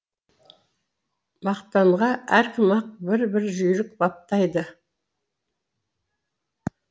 мақтанға әркім ақ бір бір жүйрік баптайды